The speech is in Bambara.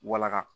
Wala